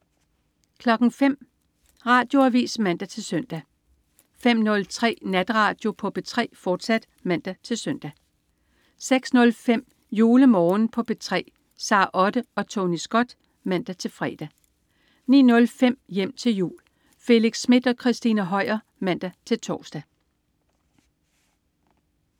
05.00 Radioavis (man-søn) 05.03 Natradio på P3, fortsat (man-søn) 06.05 JuleMorgen på P3. Sara Otte og Tony Scott (man-fre) 09.05 Hjem til jul. Felix Smith og Christina Høier (man-tors)